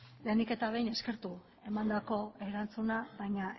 lehenik eta behin eskertu emandako erantzuna baina